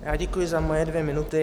Já děkuji za moje dvě minuty.